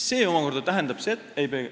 Ei peegelda?